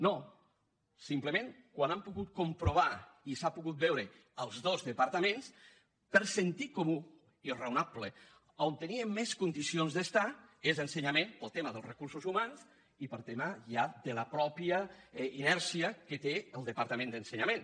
no simplement quan hem pogut comprovar i s’ha pogut veure els dos departaments per sentit comú i raonable a on tenia més condicions d’estar és a ensenyament pel tema dels recursos humans i pel tema ja de la mateixa inèrcia que té el departament d’ensenyament